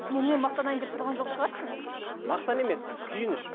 мұнымен мақтанайын деп тұрған жоқ шығарсың мақтан емес күйініш